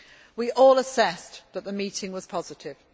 We all assessed that the meeting was positive.